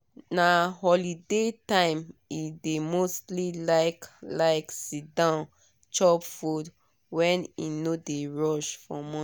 na holiday time e dey mostly like like sit down chop food when e no dey rush for morning